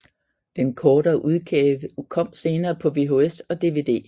Den kortere udgave kom senere på VHS og DVD